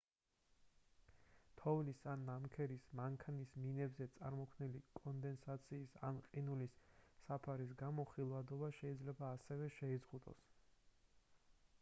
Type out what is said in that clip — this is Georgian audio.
თოვლის ან ნამქერის მანქანის მინებზე წარმოქმნილი კონდენსაციის ან ყინულის საფარის გამო ხილვადობა შეიძლება ასევე შეიზღუდოს